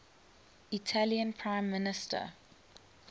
italian prime minister